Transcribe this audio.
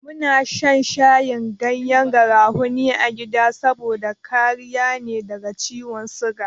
Muna shan shayin gyanyen garafuni a gida saboda kariya ne daga ciwon siga.